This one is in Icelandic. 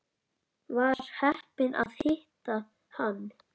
Var heppin að hitta hann.